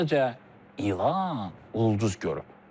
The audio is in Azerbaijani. Sadəcə ilah ulduz görüb.